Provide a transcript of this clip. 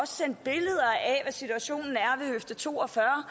sendt billeder af situationen er ved høfde to og fyrre